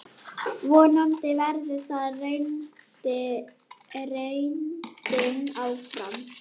Vonandi verður það reyndin áfram.